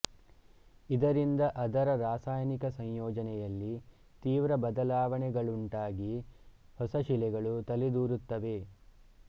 ಇದರಿಂದ ಅದರ ರಾಸಾಯನಿಕ ಸಂಯೋಜನೆಯಲ್ಲಿ ತೀವ್ರ ಬದಲಾವಣೆಗಳುಂಟಾಗಿ ಹೊಸಶಿಲೆಗಳು ತಲೆದೋರುತ್ತವೆ